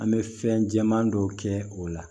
An bɛ fɛn jɛman dɔ kɛ o la